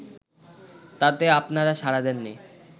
তাতে আপনারা সাড়া দেননি